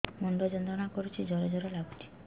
ମୁଣ୍ଡ ଯନ୍ତ୍ରଣା କରୁଛି ଜର ଜର ଲାଗୁଛି